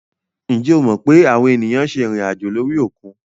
Njẹ o mọ pe awọn eniyan ṣe irinajo lori okun?